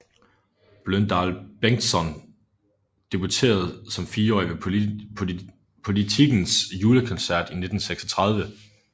Bløndal Bengtsson debuterede som fireårig ved Politikens Julekoncert i 1936